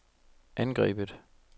angrebet